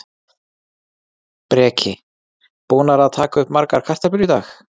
Breki: Búnar að taka upp margar kartöflur í dag?